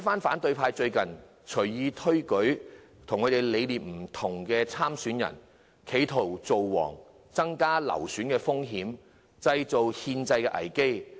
反對派最近隨意推舉與他們理念不同的候選人，企圖"造王"，增加流選的風險，製造憲制危機。